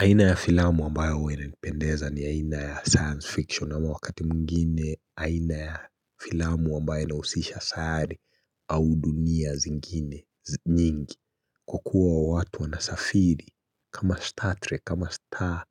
Aina ya filamu ambayo huwa inanipendeza ni aina ya science fiction ama wakati mwinginie aina ya filamu ambayo inahusisha sayari au dunia zingine nyingi. Kwa kuwa watu wanasafiri kama Star Trek kama Star